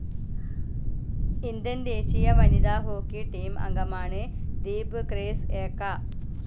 Indian ദേശീയ വനിതാ hockey team അംഗമാണ് ദീപ് ഗ്രേസ്‌ ഏക്ക.